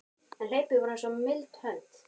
En hlaupin voru eins og mild hönd